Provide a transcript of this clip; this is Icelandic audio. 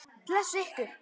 Blessi ykkur.